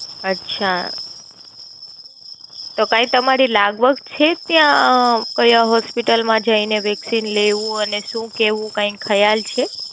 અચ્છા, તો કાય તમારે લાગવત છે ત્યાં આ આ કાયા Hospital માં જય ને Vaccine લેવું અને શું કેવું કાય ખ્યાલ છે?